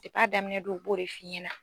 Depi a daminɛn don u b'o de f'i ɲɛna.